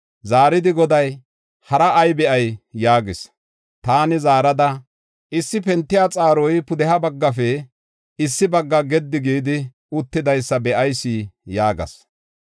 Zaaridi Goday, “Haraa ay be7ay” yaagis. Taani zaarada, “Issi pentiya xaaroy pudeha baggafe issi bagga gedi gidi uttidaysa be7ayis” yaagas.